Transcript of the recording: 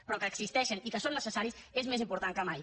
però que existeixen i que són necessaris és més important que mai